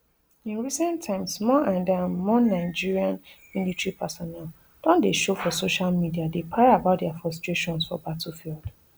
in recent times more and um more nigeria military personnel don dey show for social media dey para about dia frustrations for battlefield